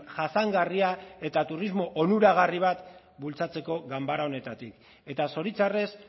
jasangarria eta turismo onuragarri bat bultzatzeko ganbara honetatik eta zoritxarrez